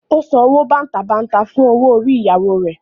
Ó san owó bàǹtàbanta fún owó orí ìyàwó rẹ̀.